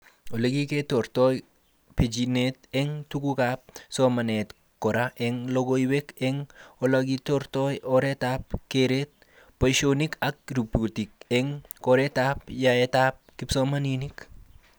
Olekikertoi bechinet eng tugukab somanet kora eng logoiwek eng olekikertoi oretab keret, boishonik ak rubrikik eng kertaab yaetab kisomanink